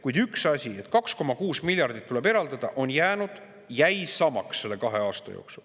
Kuid üks asi jäi samaks selle kahe aasta jooksul: 2,6 miljardit tuleb eraldada.